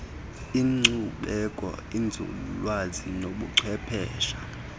inkcubeko inzululwazi nobuchwepheshe